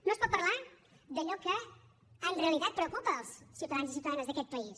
no es pot parlar d’allò que en realitat preocupa els ciutadans i ciutadanes d’aquest país